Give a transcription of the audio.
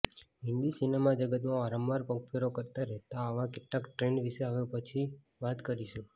હિન્દી સિનેમાજગતમાં વારંવાર પગફેરો કરતા રહેતા આવા કેટલાક ટ્રેન્ડ વિશે હવે પછી વાત કરીશું